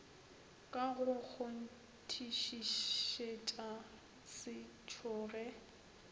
ka go kgonthišišetša se tšhoge